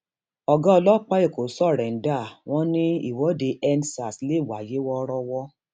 ọgá ọlọpàá èkó sọrèǹda wọn ni ìwọdeendsars lè wáyé wọọrọwọ